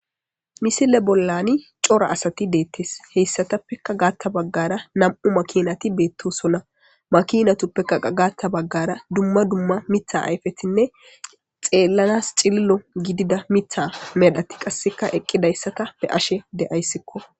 misile bollani cora asati deettes heyssatappeka gaatta baggara nam7u makinati beettosonna makinatuppekaqa gaatta baggara dumma dumma mitha ayfetinne xeellanas cililo gidida mitha medhati qasseka eqqidayssata be ashe deayssikko